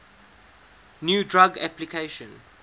new drug application